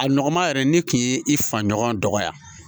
A nɔgɔma yɛrɛ ne kun ye i fa ɲɔgɔn dɔgɔya